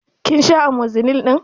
Kin sha Amozilin ɗin?